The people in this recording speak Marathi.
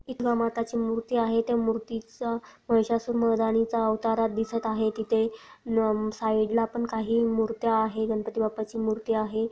माता ची मूर्ति आहे त्या मूर्ति चा महिषासुर मरधणी चा अवतार दिसत आहे तिथे साइड ला पण काही मूर्ति आहे गणपति बाप्पा ची मूर्ति आहे.